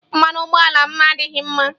Mmanụ ụgbọ ala m adịghị mma